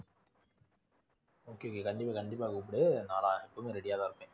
okay கண்டிப்பா கண்டிப்பா கூப்புடு நான் எப்பவுமே ready யா தான் இருப்பேன்.